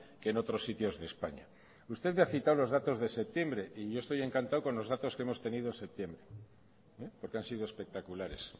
que en otros sitios de españa usted me ha citado los datos de septiembre y yo estoy encantado con los datos que hemos tenido en septiembre porque han sido espectaculares